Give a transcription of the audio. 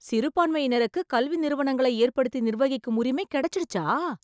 சிறுபான்மையினருக்கு, கல்வி நிறுவனங்களை ஏற்படுத்தி நிர்வகிக்கும் உரிமை கெடைச்சிடுச்சா..